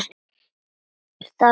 Það sagði sitt.